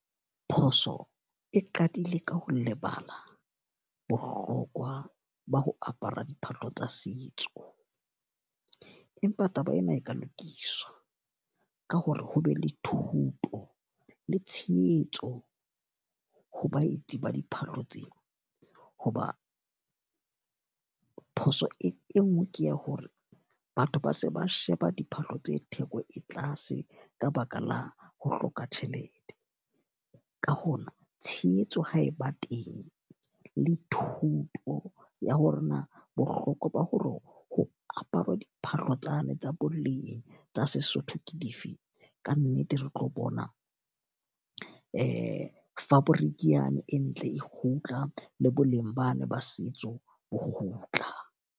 Phoso e qadile ka ho lebala bohlokwa ba ho apara diphahlo tsa setso. Empa taba ena e ka lokiswa, ka hore ho be le thuto le tshehetso ho baetsi ba diphahlo tsena. Ho ba phoso e nngwe ke ya hore batho ba se ba sheba diphahlo tse theko e tlase ka baka la ho hloka tjhelete. Ka hona, tshehetso ha e ba teng le thuto ya hore na bohlokwa ba ho re ho apara diphahlo tsane tsa boleng tsa setso Sesotho ke dife. Ka nnete re tlo bona fabric yane e ntle e kgutla, le boleng bana ba setso bo kgutla.